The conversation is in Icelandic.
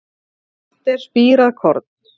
Malt er spírað korn.